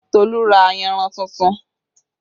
Tolu ra ayanran tuntun